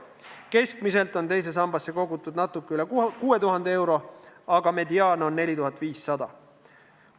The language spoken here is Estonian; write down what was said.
Keskmiselt on teise sambasse kogutud natuke üle 6000 euro, aga mediaan on 4500 eurot.